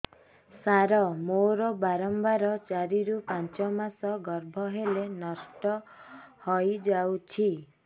ସାର ମୋର ବାରମ୍ବାର ଚାରି ରୁ ପାଞ୍ଚ ମାସ ଗର୍ଭ ହେଲେ ନଷ୍ଟ ହଇଯାଉଛି